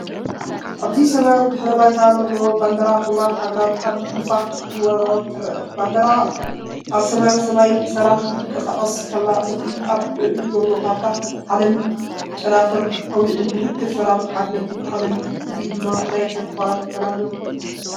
ኣብዚ ሰማያዊ ድሕረ ባይታ ዘለዋ ባንዴራ ሕቡራት ሃገራት ኣብ ንፋስ ክትወዛወዝ ትርአ። ባንዴራ ኣብ ሰማያዊ ሰማይ ብሰላም እናተንቀሳቐሰት ከላ፡እቲ ኣብ ልዕሊኡ ዘሎ ካርታ ዓለምን ጨናፍር ኣውሊዕን ምልክት ሰላምን ሓድነትን ዓለም እዩ። እዚ ድማ ናይ ተስፋን ሰላምን እዩ።